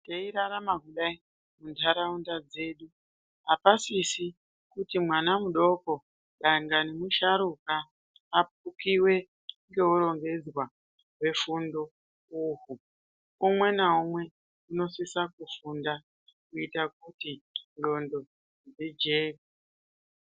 Teirarama kudai muntaraunda dzedu apasisis kuti mwana mudoko dangani musharuka afukiwe ngeurongedzwa hwefundo uhu umwe naumwe unosisa kufunda kuita kuti ndxondo dzijeke.